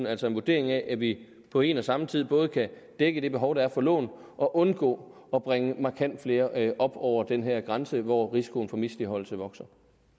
altså en vurdering af at vi på en og samme tid både kan dække det behov der er for lån og undgå at bringe markant flere op over den her grænse hvor risikoen for misligholdelse vokser